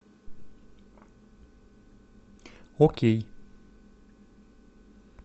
окей